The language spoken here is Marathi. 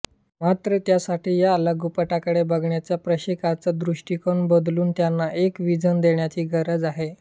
मात्र त्यासाठी या लघुपटाकडे बघण्याचा प्रेक्षकांचा दृष्टिकोन बदलून त्यांना एक व्हिजन देण्याची गरज आहे